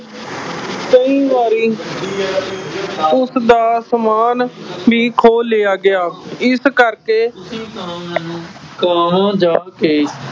ਕਈ ਵਾਰੀ ਉਸਦਾ ਸਮਾਨ ਵੀ ਖੋਹ ਲਿਆ ਗਿਆ, ਇਸ ਕਰਕੇ, ਤੁਸੀਂ ਤਾਂ ਮੈਨੂੰ ਗਾਂਹ ਜਾ ਕੇ